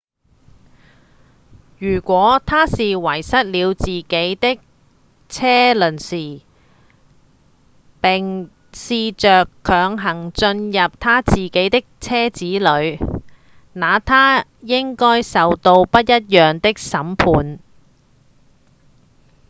如果他是遺失了自己的車鑰匙並試著強行進入他自己的車子裡那他應該受到不一樣的審判